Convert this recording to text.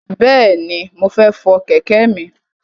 Bẹ̀ẹ̀ni, mo fọ kẹ̀kẹ́ mi.